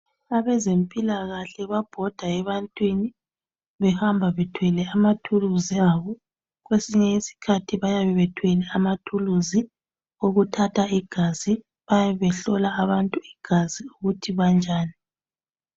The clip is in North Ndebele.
Abezempilakahle babhoda ebantwini behamba bethwele izikhali zabo behamba behlola abantu igazi ukuze babone kuthi linjani.